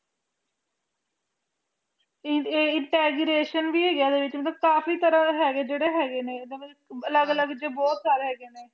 int ਭੀ ਹੈ ਇੱਡੀ ਵਿਚ ਕਾਫੀ ਤਰ੍ਹਾਂ ਦੇ ਜ਼ੀਰੇ ਹੈਗੇ ਨੇ ਅੱਡੇ ਵਿਚ ਅਲੱਗ ਅਲੱਗ ਤਰ੍ਹਾਂ ਦੇ ਹੈਗੇ ਨੇ